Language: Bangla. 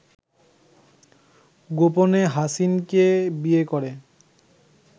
গোপনে হাসিনকে বিয়ে করে